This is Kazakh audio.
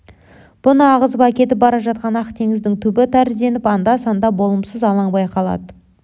бұны ағызып әкетіп бара жатқан ақ теңіздің түбі тәрізденіп анда-санда болымсыз алаң байқалады